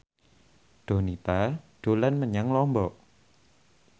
Donita dolan menyang Lombok